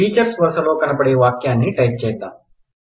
teachers వరసలో కనపడే వాక్యాని టైప్ చేద్దాం